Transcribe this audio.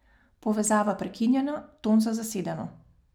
Povezava prekinjena, ton za zasedeno.